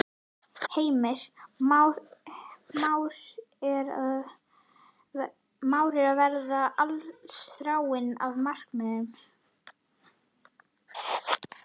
Heimir: Már er að verða allsráðandi á markaðnum?